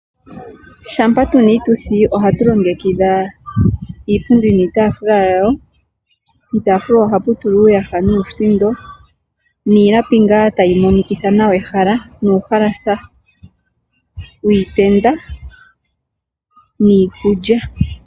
Shampa tuna iituthi ohatu longekidha iipundi niitafula yawo ,iitafula ohatu tula uuyaha nuusindo niilapi tayi monikitha nawa ehala niikulya.